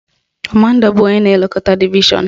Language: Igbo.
Kọmanda bụ onye na-elekọta divishọn